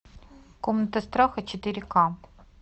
комната страха четыре ка